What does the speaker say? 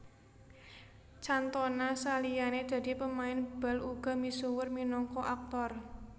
Cantona saliyane dadi pemain bal uga misuwur minangka aktor